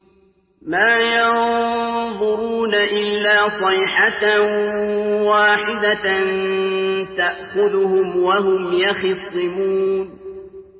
مَا يَنظُرُونَ إِلَّا صَيْحَةً وَاحِدَةً تَأْخُذُهُمْ وَهُمْ يَخِصِّمُونَ